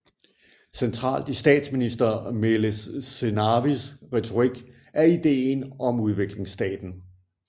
Centralt i statsminister Meles Zenawis retorik er ideen om udviklingsstaten